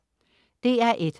DR1: